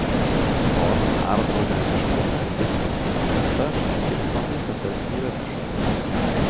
Faren er at organisasjonen blir gissel for krefter, som ikke bestandig setter miljøet først.